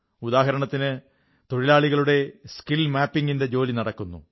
ഉദാഹരണത്തിന് തൊഴിലാളികളുടെ skill mapping ന്റെ ജോലി നടക്കുന്നു